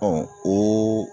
Bɔn ooo